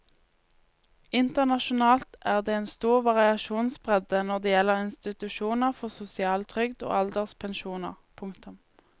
Internasjonalt er det en stor variasjonsbredde når det gjelder institusjoner for sosial trygd og alderspensjoner. punktum